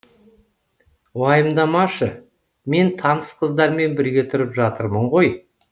уайымдамашы мен таныс қыздармен бірге тұрып жатырмын ғой